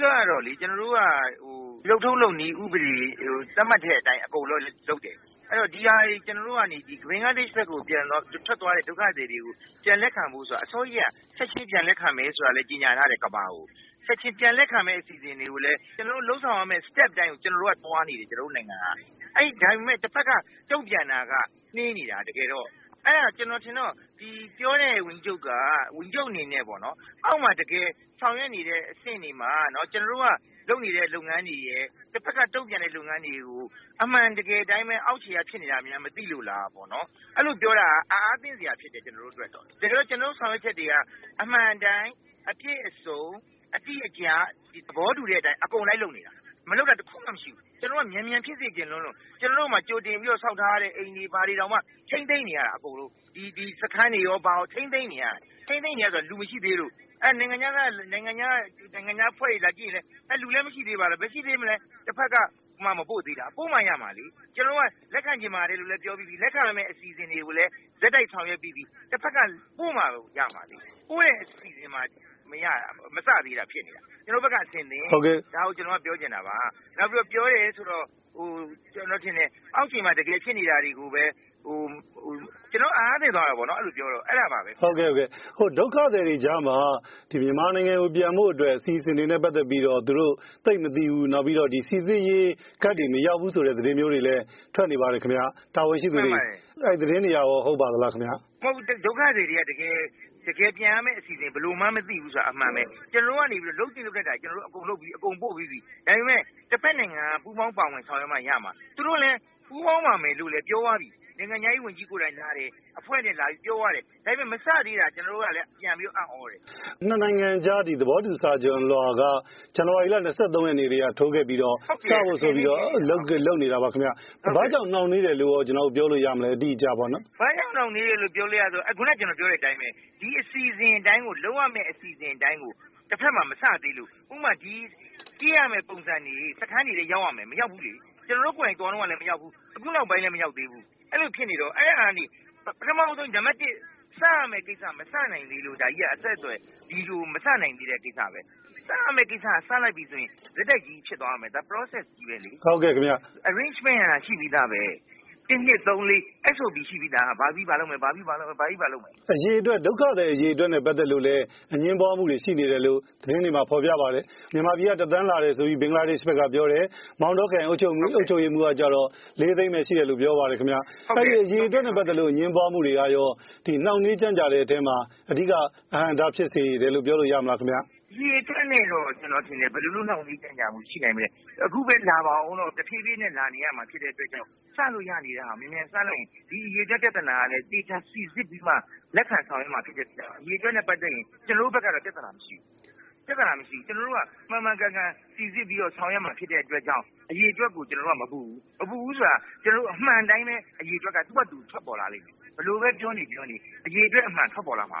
ဓိကတော့ ကျနော်တို့က လုပ်ထုံးလုပ်နည်းဥပဒေ သတ်မှတ်တဲ့အတိုင်း အကုန်လုံးလုပ်တယ်။ ဒီဟာတွေ ကျနော်တို့ကနေ ဘင်္ဂလားဒေ့ရှ်ကို ထွက်သွားတဲ့ ဒုက္ခသည်တွေကို ပြန်လက်ခံဖို့ဆိုတာက အစောကြီးကတည်းက ပြန်လက်ခံမယ်ဆိုတာလည်း ကြေညာထားတယ်။ ပြန်လက်ခံဖို့အစီအစဉ်တွေကိုလည်း ကျနော်တို့ လုပ်ဆောင်ရမယ့် Step တိုင်းကို ကျနော်တို့နိုင်ငံကသွားနေတယ်။ ဒါပေမယ့် တဖက်က တုံ့ပြန်တာက နှေးနေတာ တကယ်တော့ အဲဒါကျနော်အထင်တော့ ပြောတဲ့ဝန်ကြီးချုပ်က အောက်မှာဆောင်ရွက်နေတဲ့ တကယ့်အဆင့်တွေမှာ ကျနော်တို့က လုပ်နေတဲ့ လုပ်ငန်းတွေရယ် နောက်တဖက်က တုံ့ပြန်တဲ့ လုပ်ငန်းတွေကို အမှန်တကယ်အတိုင်းပဲ အောက်ခြေကဖြစ်နေတာတွေ မသိလို့လားပေါ့နော် ။ အဲလိုပြောတာက အံ့အားသင့်စရာဖြစ်တယ် ကျနော်တို့အတွက်။ တကယ်တော့ ကျနော်တို့ ဆောင်ရွက်ချက်တွေက အမှန်အတိုင်း အပြည့်အစုံ အတိအကျ သဘောတူတဲ့အတိုင်းအကုန်လိုက်လုပ်နေတာ မလုပ်တာ တခုမှ မရှိဘူး။ ကျနော်တို့က မြန်မြန်ဖြစ်စေချင်လွန်းလို့ ကျနော်တို့မှာ ကြိုတင်ပြီးတော့ ဆောက်ထားတဲ့ အိမ်တွေ၊ ဒီစခန်းတွေရော ထိန်းသိမ်းနေရတာ။ ထိန်းသိမ်းနေရတာဆိုတာက လူမရှိသေးလို့ ။ အဲဒီတော့ နိုင်ငံခြားအဖွဲ့တွေလာကြည့်ရင်လည်း လူလည်းမရှိသေးပါလားဆိုတာ ဘယ်မရှိသေးမလဲ တဖက်ကမှ မပို့သေးတာ၊ ပို့မှ ရမှာလေ။ ကျနော်တို့က လက်ခံချင်ပါတယ်လို့လဲပြောပြီးပြီ လက်ခံရမယ့်အစီအစဉ်တွေကိုလည်း ဆက်တိုက် ဆောင်ရွက်ပြီးပြီ တဖက်က ပို့မှရမှာလေ။ ပို့တာကမှ မစသေးတာ။ ဒါကိုကျနော်တို့ကပြောချင်တာပါ။ နောက်ပြီးတော့ ပြောတယ်ဆိုတာကတော့ အောက်ခြေမှာ တကယ်ဖြစ်နေတာတွေကို မသိပဲ ပြောတော့ ကျနော်ကတော့ အံအားသင့်သွားတာပေါ့နော် အဲဒါပါပဲ။ ဒုက္ခသည်တွေအကြားမှာ မြန်မာနိုင်ငံကို ပြန်ဖို့အတွက် အစီအစဉ်နဲ့ ပတ်သက်ပြီး သူတို့ သိပ်မသိဘူး၊ နောက်ပြီးတော့ စိစစ်ရေး ကဒ်တွေမရောက်ဘူးဆိုတဲ့ သတင်းမျိုးထွက်နေပါတယ် အဲဒီသတင်းတွေရော ဟုတ်ပါသလားခင်ဗျ။ ဒုက္ခသည်တွေက ဘယ်လိုပြန်ရမယ့်အစီအစဉ်ကို မသိဘူးဆိုတာကတော့ အမှန်ပဲ ကျနော်တို့ကနေပြီးတော့ လုပ်သင့်လုပ်ထိုက်တာတွေကို အကုန်လုပ်ပြီးပြီ။ ပို့ပြီးပြီ ဒါပေမယ့် တဖက်နိုင်ငံက ပူးပေါင်းဆောင်ရွက်မှ ရမှာ ။ သူတို့လည်း ပူးပေါင်းပါမယ်ဆိုပြီးတော့ ပြောပြီးပြီ။ နိုင်ငံခြားရေးဝန်ကြီးကလည်း အဖွဲ့နဲ့ လာပြီးတော့ ပြောသွားတယ်။ ဒါပေမယ့် မစသေးတာ ကျနော်တို့ကလည်း ပြန်ပြီးတော့ အံသြတယ်။ ၂ နိုင်ငံကြားသဘောတူစာချွန်လွှာက ဇန်နဝါရီလ ၂၃ ရက်နေ့ကတည်းက ထိုးပြီးတော့ စဖို့ဆိုပြီးတော့ လုပ်နေတာပါ။ ဘာကြောင့်နှောင့်နှေးတယ်လို့ ပြောလို့ရမလဲ ဘာကြောင့်နှောင့်နှေးတယ်လို့ ပြောလို့ရမလဲ ဆိုတော့ ခုနကျနော်ပြောတဲ့အတိုင်းပဲ လုပ်ရမယ့်အစီအစဉ်အတိုင်းကို တဖက်မှာ မစသေးလို့ ဥပမာ-ဖြည့်ရမယ့်ပုံစံတွေက စခန်းတွေထဲရောက်ရမယ် ၊ အခုမရောက်သေးဘူး။ ကျနော်တို့ ကိုယ်တိုင်သွားတုန်းကလည်း မရောက်သေးဘူး။ အခုနောက်ပိုင်းလည်း မရောက်သေးဘူး အဲလိုဖြစ်နေတော့ အဲဒါကနေ ပထမဦးဆုံး နံပတ်၁ စရမယ့်ဟာက မစနိုင်သေးလို့ ။ စရမယ့် ကိစ္စက စလိုက်ပြီဆိုရင် ဆက်တိုက်ဖြစ်သွားမယ် ဒါက Process တခုပဲလေ။ Arrangement ကရှိပြီးသား ၁၊၂၊၃၊၄ ဆိုပြီး ဘာပြီးဘာလုပ်မယ်ဆိုတာ ရှိပြီးသား ဒုက္ခသည်အရေအတွက်နဲ့ ပတ်သက်လို့ အငြင်းပွားမှုတွေရှိနေတယ်လို့ သတင်းတွေမှာ ဖော်ပြပါတယ်။ မြန်မာပြည်က ၁ သန်းလာတယ်ဆိုပြီး ဘင်္ဂလားဒေ့ရှ်က ပြောတယ်၊ မောင်တောခရိုင်အုပ်ချုပ်ရေးမှူးကတော့ ၄ သိန်းပဲ ရှိတယ်ဆိုပြီးပြောတယ် အရေအတွက်နဲ့ ပတ်သက်လို့ အငြင်းပွားမှုတွေက နှောင့်နှေးကြန့်ကြာတဲ့အထဲမှာ အဓိက အဟန့်အတားဖြစ်စေတယ်လို့ ပြောလို့ရမလားခင်ဗျ။ အရေအတွက်နဲ့တော့ ကျနော်ထင်တယ် ဘယ်လို နှောင့်နှေးကြန့်ကြာမှုရှိနိုင်မလဲ ။ အခုပဲ လာဦးတော့ တဖြေးဖြေးလာနေရမှာဖြစ်တဲ့အတွက် စလို့ရနေတာကို မြန်မြန်စလိုက်ရင် ဒီအရေအတွက်ပြဿနာကလည်း သေချာစိစစ်ပြီးမှ လက်ခံဆောင်ရွက်မှာ ဖြစ်တဲ့အတွက်ကြောင့် ဒီအရေအတွက်နဲ့ ပတ်သက်ရင် ကျနော်တို့ဘက်က ပြဿနာမရှိဘူး။ ကျနော်တို့က မှန်မှန်ကန်ကန်စိစစ်ပြီးတော့ ဆောင်ရွက်မှာဖြစ်တဲ့အတွက် အရေအတွက်ကို ကျနော်တို့ကမပူဘူး။ မပူဘူးဆိုတာက ကျနော်တို့ အမှန်အတိုင်း သူဟာသူ အရေအတွက်က ထွက်ပေါ်လာမယ်။ဘယ်လိုပဲပြောနေ အရေအတွက်အမှန် ထွက်ပေါ်လာမ